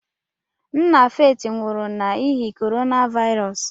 Nna Faith nwụrụ n'ihi Corona Virus.